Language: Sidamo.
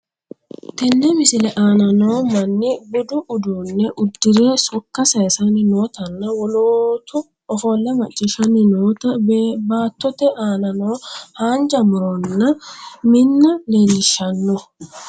Tenne misile anna noo maani buuddu uddune udirre sokka sayssanni nottanna woolottu ofoole maciishshani notta battote anna noo hannijja murronna minna lelishanoo